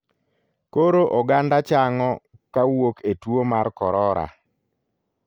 Koro oganda chang'o kawuok e tuo mar korora.